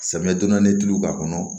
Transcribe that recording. Samiyɛ donna ni tulu k'a kɔnɔ